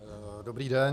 Dobrý den.